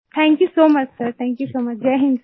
thank you so much sir thank you so much Jai Hind sir